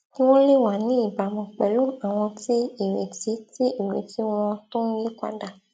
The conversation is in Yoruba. kí wón lè wà ní ìbámu pèlú àwọn tí ìrètí tí ìrètí wọn tó n yípadà